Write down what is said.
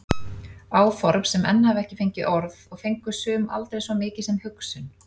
Áform sem enn hafa ekki fengið orð og fengu sum aldrei svo mikið sem hugsun.